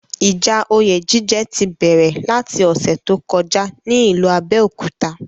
Ìjà oyè jíjẹ ti bẹ̀rẹ̀ láti ọ̀ṣẹ̀ tó kọjá ní ìlú Abẹ́òkúta.